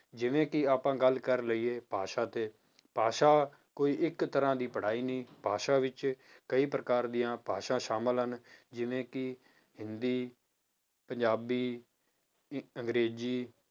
ਜਿਵੇਂ ਕਿ ਆਪਾਂ ਗੱਲ ਕਰ ਲਈਏ ਭਾਸ਼ਾ ਤੇ, ਭਾਸ਼ਾ ਕੋਈ ਇੱਕ ਤਰ੍ਹਾਂ ਦੀ ਪੜ੍ਹਾਈ ਨਹੀਂ ਭਾਸ਼ਾ ਵਿੱਚ ਕਈ ਪ੍ਰਕਾਰ ਦੀਆਂ ਭਾਸ਼ਾ ਸ਼ਾਮਲ ਹਨ, ਜਿਵੇਂ ਕਿ ਹਿੰਦੀ, ਪੰਜਾਬੀ, ਅੰਗਰੇਜ਼ੀ